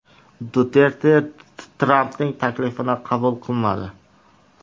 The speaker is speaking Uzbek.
Duterte Trampning taklifini qabul qilmadi.